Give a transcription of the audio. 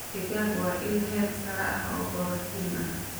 Digaag waa il heer sare ah oo borotiin ah.